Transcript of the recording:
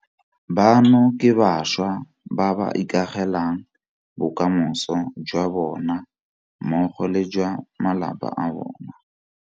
Bano ke bašwa ba ba ikagelang bokamoso jwa bona mmogo le jwa ba malapa a bona.